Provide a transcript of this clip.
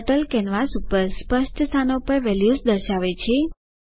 turtle canvas પર સ્પષ્ટ સ્થાનો પર વેલ્યુઝ દર્શાવે છે